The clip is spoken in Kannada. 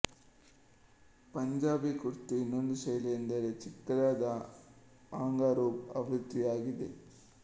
ಪಂಜಾಬಿ ಕುರ್ತಿಯ ಇನ್ನೊಂದು ಶೈಲಿ ಎಂದರೆ ಚಿಕ್ಕದಾದ ಆಂಗ ರೂಬ್ ಆವೃತ್ತಿಯಾಗಿದೆ